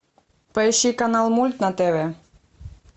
поищи канал мульт на тв